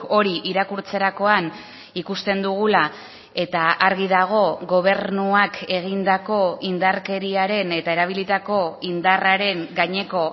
hori irakurtzerakoan ikusten dugula eta argi dago gobernuak egindako indarkeriaren eta erabilitako indarraren gaineko